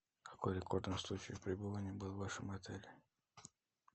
какой рекордный случай пребывания был в вашем отеле